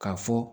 K'a fɔ